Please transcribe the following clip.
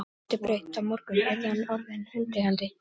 Hann brosti breitt: Á morgun yrði hann orðinn hundeigandi!